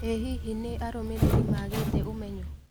ĩ hihi nĩ arũmĩrĩri maagĩte ũmenyo?